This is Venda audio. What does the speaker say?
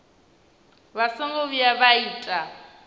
vha songo vhuya vha ita